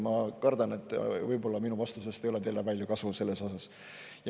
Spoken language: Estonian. Ma kardan, et võib-olla mu vastusest ei ole teile selle mõttes palju kasu.